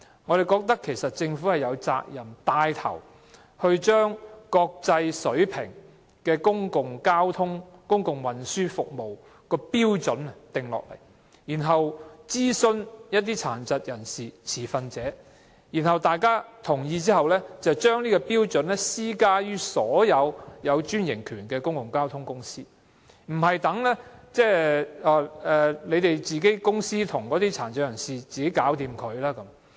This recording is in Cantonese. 我們認為政府有責任牽頭訂定符合國際水平的公共交通或公共運輸服務標準，然後諮詢殘疾人士和持份者，在取得各方面同意後，政府應將標準施加於所有獲批專營權營運的公共交通公司，而不是由各公司與殘疾人士自行商討。